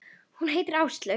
Hún heitir Áslaug.